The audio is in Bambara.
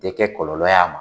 Tɛ kɛ kɔlɔlɔ ye a ma.